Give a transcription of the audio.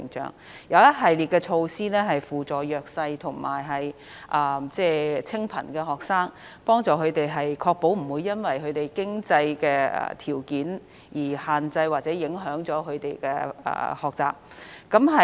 現時亦有一系列措施扶助弱勢和清貧學生，確保他們不會因為經濟條件問題而限制或影響了他們的學習。